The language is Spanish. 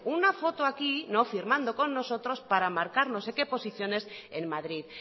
una foto aquí no firmando con nosotros para marcar no sé qué posiciones en madrid